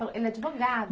Ele é advogado.